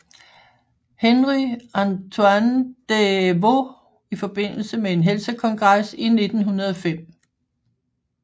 Henry Antoine Des Vœux i forbindelse med en helsekongres i 1905